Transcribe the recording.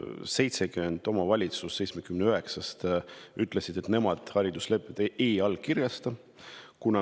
70 omavalitsust 79-st ütles, et nemad hariduslepet ei allkirjasta.